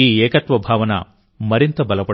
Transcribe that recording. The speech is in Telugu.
ఈ ఏకత్వ భావన మరింత బలపడుతుంది